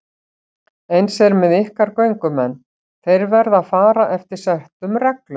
Eins er með ykkar göngumenn, þeir verða að fara eftir settum reglum.